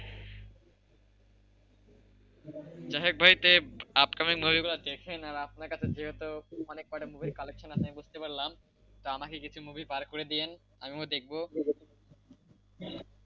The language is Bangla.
যাইহোক ভাই upcoming movie গুলো দেখেন আপনার কাছে যেহেতু অনেকগুলো মুভির collection আছে আমি বুঝতে পারলাম তা আমাকে কিছু movie বার করে দেন আমিও দেখবো,